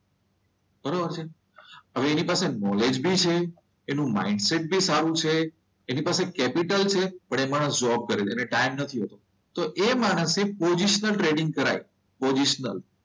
બરોબર છે હવે એની પાસે નોલેજ બી છે. એનું માઈન્ડ સેટ પણ સારું છે, એની પાસે કેપિટલ છે, પણ એ માણસ જોબ કરે છે, એને ટાઈમ નથી હોતો તો એ માણસે પોઝિશનલ ટ્રેડિંગ કરાય. પોઝિશનલ.